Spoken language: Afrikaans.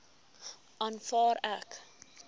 aanvaar ek